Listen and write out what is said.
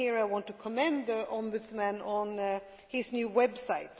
Here I want to commend the Ombudsman on his new website.